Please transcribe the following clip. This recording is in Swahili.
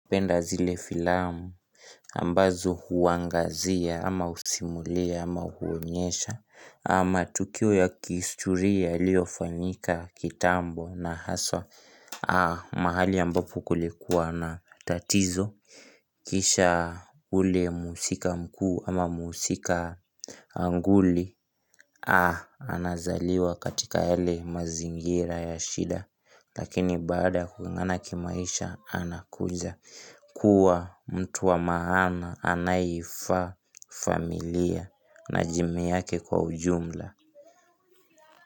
Napenda zile filamu ambazo huangazia ama husimulia ama huonyesha Ama tukio ya kihistoria yaliofanyika kitambo na haswa mahali ambapo kulikuwa na tatizo Kisha ule mhusika mkuu ama mhusika nguli anazaliwa katika yale mazingira ya shida Lakini baada kung'ang'ana kimaisha anakuja kuwa mtu wa maana anayeifaa familia na jamii yake kwa ujumla.